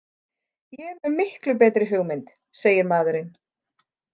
Ég er með miklu betri hugmynd, segir maðurinn.